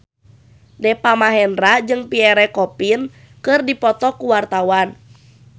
Deva Mahendra jeung Pierre Coffin keur dipoto ku wartawan